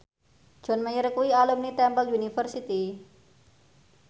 John Mayer kuwi alumni Temple University